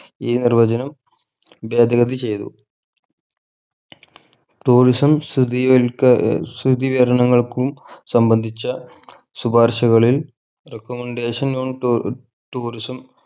ഈ നിർവചനം ഭേതഗതി ചെയ്തു tourism സ്ഥിതി കരി ക്ക സ്ഥിതി കരണങ്ങൾക്കും സംബന്ധിച്ച ശുപാർഷകളിൽ recommendation on ടു tourism